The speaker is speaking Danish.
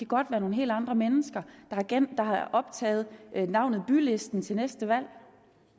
godt være nogle helt andre mennesker der har optaget navnet bylisten til næste valg